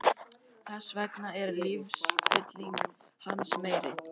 Þess vegna er lífsfylling hans meiri.